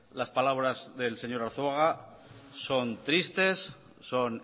las palabras del señor arzuaga son tristes son